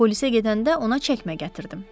Polisə gedəndə ona çəkmə gətirdim.